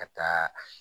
Ka taa